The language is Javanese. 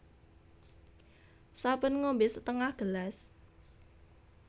Saben ngombé setengah gelas